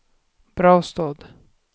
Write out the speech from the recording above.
Brastad